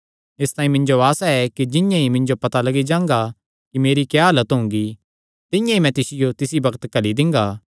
इसतांई मिन्जो आसा ऐ कि जिंआं ई मिन्जो पता लग्गी जांगा कि मेरी क्या हालत हुंगी तिंआं ई मैं तिसियो तिसी बग्त घल्ली दिंगा